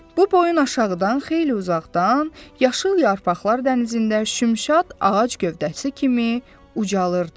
Bu boyun aşağıdan xeyli uzaqdan, yaşıl yarpaqlar dənizində şümşad ağac gövdəsi kimi ucalırdı.